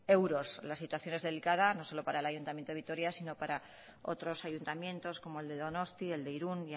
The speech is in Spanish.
euros la situación es delicada no solo para el ayuntamiento de vitoria sino para otros ayuntamientos como el de donostia el de irún